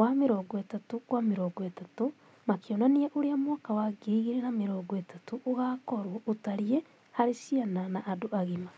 wa 30*30, makĩonania ũrĩa mwaka wa 2030 ũgaakorũo ũtariĩ harĩ ciana na andũ agima.